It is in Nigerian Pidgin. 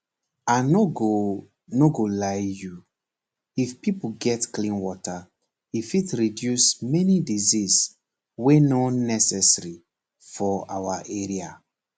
i nor go nor go lie you if pipo get clean water e fit reduce many disease wey nor necessary for our area